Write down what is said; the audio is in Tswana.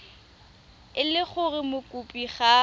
e le gore mokopi ga